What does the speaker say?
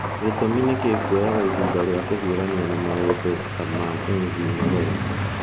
Gĩtũmi nĩ kĩĩ kuoyaga ihinda rĩa kũhiũrania na maũndũ ta ma MV Nyerere?